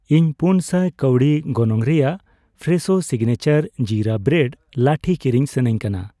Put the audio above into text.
ᱤᱧ ᱯᱩᱱ ᱥᱟᱭ ᱠᱟᱹᱣᱰᱤ ᱜᱚᱱᱚᱝ ᱨᱮᱭᱟᱜ ᱯᱷᱨᱮᱥᱳ ᱥᱤᱜᱱᱮᱪᱟᱨ ᱡᱤᱨᱟ ᱵᱨᱮᱰ ᱞᱟᱹᱴᱷᱤ ᱠᱤᱨᱤᱧ ᱥᱟᱱᱟᱧ ᱠᱟᱱᱟ